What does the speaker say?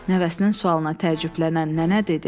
Nəvəsinin sualına təəccüblənən nənə dedi: